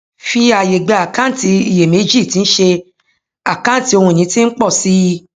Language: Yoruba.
fi àyè gba àkáǹtì iyèméjì tí ń ṣé àkáǹtì ohun ìní tí ń pọ sí i